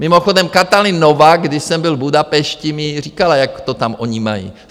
Mimochodem, Katalin Novák, když jsem byl v Budapešti, mi říkala, jak to tam oni mají.